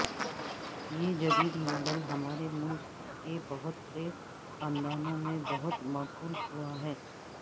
یہ جدید ماڈل ہمارے ملک کے بہت سے خاندانوں میں بہت مقبول ہوا ہے